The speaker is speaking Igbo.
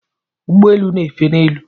Ụgbọelu n'éfè n'elu.